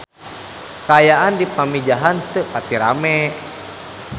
Kaayaan di Pamijahan teu pati rame